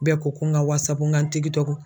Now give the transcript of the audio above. Bɛɛ ko ko n ka n ka n